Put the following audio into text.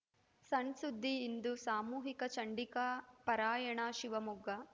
ಸಣ್‌ಸುದ್ದಿ ಇಂದು ಸಾಮೂಹಿಕ ಚಂಡಿಕಾ ಪಾರಾಯಣ ಶಿವಮೊಗ್ಗ